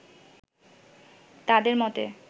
তাঁদের মতে